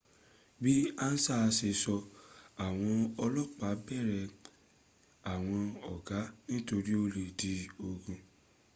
bí ansa ṣe sọ́, àwọn ọlọ́pà bẹ̀rẹ̀ àwọn ọgá nítorí ó lè di ogun